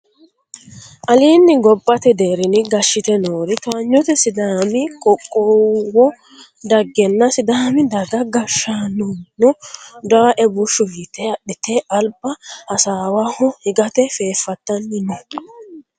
Alinni gobbate deerrinni gashshite noori towaanyote sidaami qoqqowo daggenna sidaami daga gashshaanono dawoe bushshu yite adhite alba hasaawaho higate fefattanni no